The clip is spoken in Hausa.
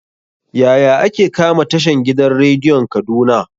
Yaya ake kama tashan gidan rediyon kaduna?